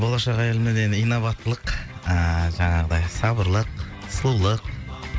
болашақ әйелімнен енді инабаттылық ыыы жаңағыдай сабырлық сұлулық